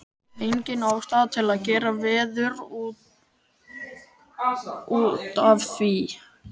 Engin ástæða til að gera veður út af því.